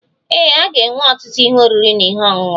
Ee, a ga-enwe ọtụtụ ihe oriri na ihe ọṅụṅụ.